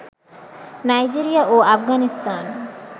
Nigeria ও আফগানিস্তান